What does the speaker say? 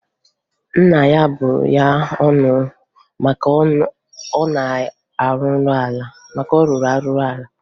Nna ya bụrụ ya ọnụ maka na ọ rụrụ ala